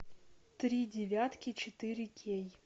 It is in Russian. три девятки четыре кей